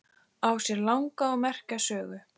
Á sér langa og merka sögu.